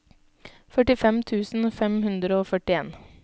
førtifem tusen fem hundre og førtien